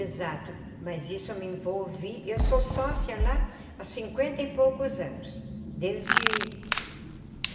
Exato, mas isso me envolvi... eu sou sócia lá há cinquenta e poucos anos, desde